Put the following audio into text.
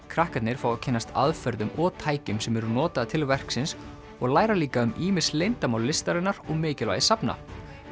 krakkarnir fá að kynnast aðferðum og tækjum sem eru notaðar til verksins og læra líka um ýmis leyndarmál listarinnar og mikilvægi safna